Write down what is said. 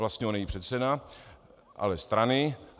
Vlastně on není předseda... ale strany...